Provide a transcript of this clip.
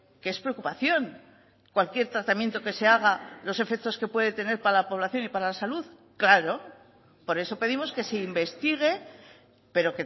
que es preocupación cualquier tratamiento que se haga los efectos que puede tener para la población y para la salud claro por eso pedimos que se investigue pero